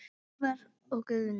Ívar og Guðný.